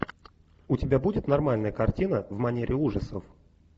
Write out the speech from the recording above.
у тебя будет нормальная картина в манере ужасов